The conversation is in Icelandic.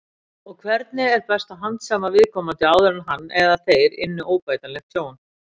Og hvernig var best að handsama viðkomandi áður en hann eða þeir ynnu óbætanlegt tjón?